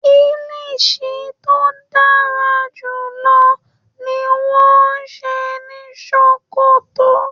Kilishi to darajulọ ni wọn n ṣe ni Sókótó.